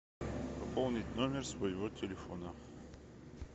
пополнить номер своего телефона